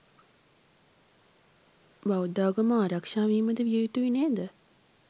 බෞද්ධාගම ආරක්ශාවීමද විය යුතුයි නේද